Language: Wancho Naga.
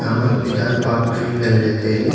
ama tuita palm tree ngan le taile.